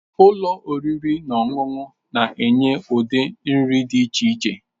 Ụlọ oriri na ọṅụṅụ na-enye ụdị nri dị iche iche.